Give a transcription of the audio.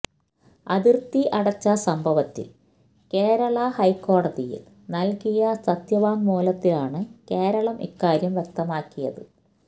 അതിർത്തി അടച്ച സംഭവത്തിൽ കേരള ഹൈക്കോടതിയിൽ നൽകിയ സത്യവാങ്മൂലത്തിലാണ് കേരളം ഇക്കാര്യം വ്യക്തമാക്കിയത്